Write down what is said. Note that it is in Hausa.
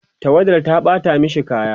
tawadar ta ɓata mashi kaya